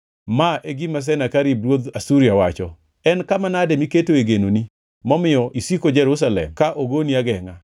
“Ma e gima Senakerib ruodh Asuria wacho: En kama nade miketoe genoni, momiyo isiko Jerusalem ka ogoni agengʼa?